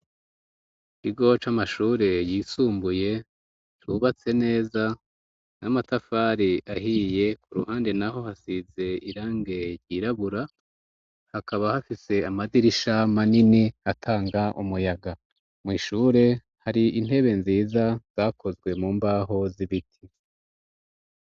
Ikigo c'amashure yisumbuye, cubatse neza n'amatafari ahiye, ku ruhande naho hasize irange ryirabura, hakaba hafise amadirisha manini atanga umuyaga, mw' ishure hari intebe nziza zakozwe mu mbaho z'ibiti